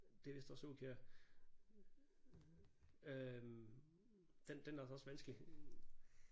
Det er vist også Aakjær øh den den er altså også vanskelig